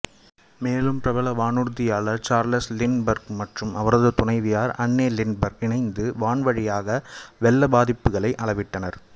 மேலும் பிரபல வானூர்தியாளர் சார்லஸ் லின்ட்பர்க் மற்றும் அவரது துணைவியார் அன்னே லின்ட்பர்க் இணைந்து வான்வழியாக வெள்ளப்பாதிப்புகளை அளவிட்டனர்